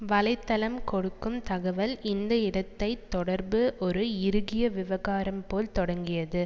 வலை தளம் கொடுக்கும் தகவல் இந்த இடை தொடர்பு ஒரு இறுகிய விவகாரம் போல் தொடங்கியது